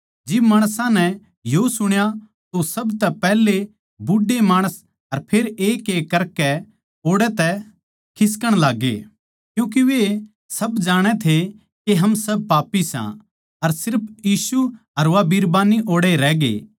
जिब माणसां नै यो सुण्या तो सबतै पैहले बूढ़े माणस अर फेर एकएक करकै ओड़ै तै खिसकण लाग्गे क्यूँके वे सब जाणै थे के हम सब पापी सां अर सिर्फ यीशु अर वा बिरबान्नी ओड़ै रहगे